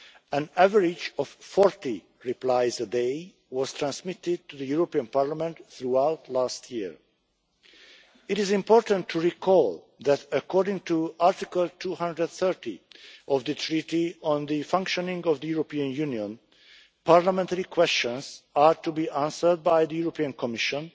An average of 40 replies a day was transmitted to the European Parliament throughout last year. It is important to recall that, according to Article 230 of the Treaty on the Functioning of the European Union, Parliamentary questions are to be answered by the European Commission